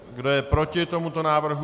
Kdo je proti tomuto návrhu?